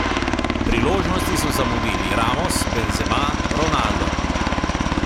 Priložnosti so zamudili Ramos, Benzema, Ronaldo.